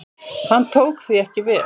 Hann tók því ekki vel.